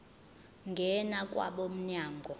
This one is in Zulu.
ngena kwabo mnyango